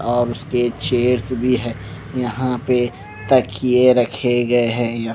और उसके चेयर्स भी है यहाँ पे तकिये रखे गए हैं या --